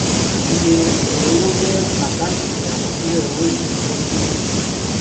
iye èrèowó jẹ àkáǹtì àkọsílẹ owó èlé tó ń dínkù